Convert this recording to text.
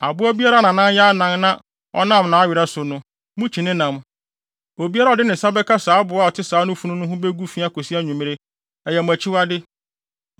Aboa biara a nʼanan yɛ anan na ɔnam nʼawerɛw so no, mukyi ne nam. Obiara a ɔde ne nsa bɛka aboa a ɔte saa funu no ho begu fi kosi anwummere; ɛyɛ mo akyiwade.